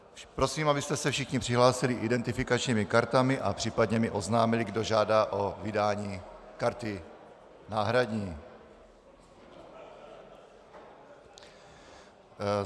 Prosím, abyste se všichni přihlásili identifikačními kartami a případně mi oznámili, kdo žádá o vydání karty náhradní.